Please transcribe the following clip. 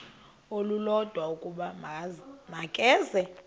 olulodwa ukuba makeze